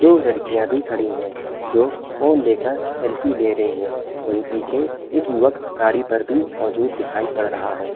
दो लड़कियां भी खड़ी हैं जो फ़ोन ले कर सेल्फी ले रही है। वहीं पीछे एक युवक गाड़ी पर भी मौजूद दिखाई पड़ रहा है।